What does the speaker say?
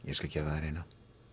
ég skal gefa þér eina